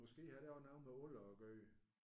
Måske har det også noget med alder at gøre